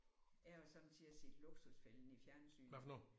Jeg har sommetider set Luksusfælden i fjernsynet